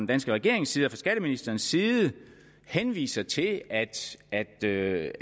danske regerings side og fra skatteministerens side henviser til at det